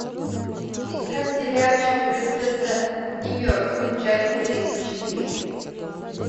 искать сериальчик принцесса немертвых часть тридцать четыре